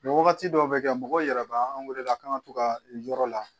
wagati dɔw be kɛ mɔgɔw yɛrɛ be an weele a kan ka to ka yɔrɔ la